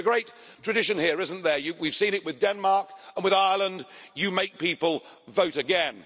There is a great tradition here, isn't there we've seen it with Denmark and with Ireland where you make people vote again.